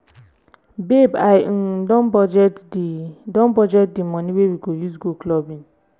babe i um don budget the don budget the money wey we go use go clubbing